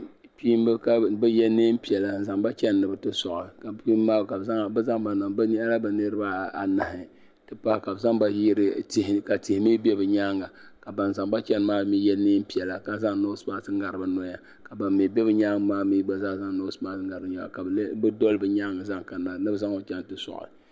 Kpiinba ka bɛ yɛ nɛɛn piɛlla n zaŋba chɛni ni bɛ ti soɣi bɛ nyɛla bɛ niriba anahi ti pahi ka bɛ zaŋ ba yiri tihi ka tihi mi be bɛ nyaaŋa ka ban zaŋba chɛni maa mi yɛ nɛɛn piɛlla ka zaŋ nɔsmask ŋnari bɛ noya ka ban mi doli bɛ nyaaŋa maa zaŋ nɔsmask ŋnari bɛ nyɛhi ni bɛ zaŋba chaŋ ti soɣi.